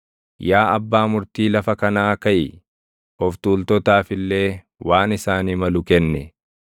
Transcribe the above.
Yaa Abbaa Murtii lafa kanaa kaʼi; of tuultotaaf illee waan isaanii malu kenni.